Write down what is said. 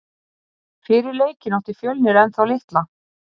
Fyrir leikinn átti Fjölnir ennþá litla.